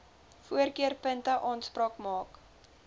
voorkeurpunte aanspraak maak